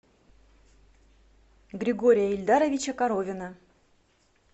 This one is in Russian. григория ильдаровича коровина